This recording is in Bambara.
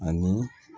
Ani